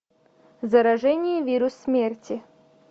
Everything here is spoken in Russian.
заражение вирус смерти